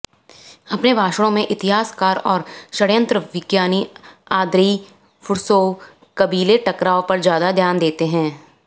अपने भाषणों में इतिहासकार और षड्यंत्रविज्ञानी आंद्रेई फुर्सोव कबीले टकराव पर ज्यादा ध्यान देते हैं